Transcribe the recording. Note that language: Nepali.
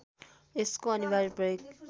यसको अनिवार्य प्रयोग